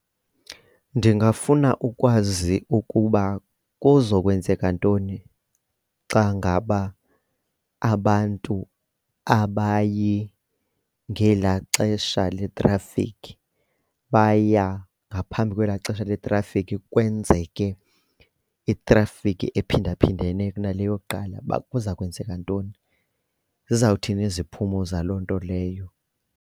Ndingafuna ukwazi ukuba kuzokwenzeka ntoni xa ngaba abantu abayi ngela xesha letrafikhi baya ngaphambi kwela xesha neetrafikhi kwenzeke itrafikhi ephindaphindene kunale yakuqala, uba kuza kwenzeka ntoni, zizawuthi iziphumo zalo nto leyo.